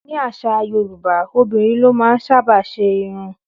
Ní àṣà Yorùbá, obìnrin ló máa ń sábà ṣe irun